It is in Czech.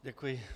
Děkuji.